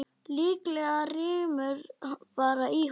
Líklega rymur bara í honum.